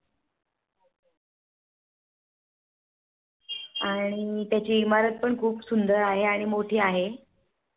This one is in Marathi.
आणि त्याची इमारत पण खूप सुंदर आहे आणि मोठी आहे.